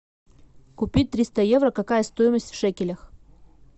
купить триста евро какая стоимость в шекелях